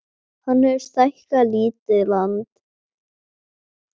Hann hefur stækkað lítið land